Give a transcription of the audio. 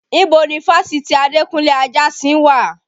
Ibo ni fásitì Adekunle Ajasin wà?